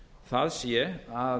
það sé að